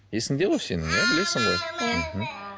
есіңде ғой сенің иә білесің ғой иә мхм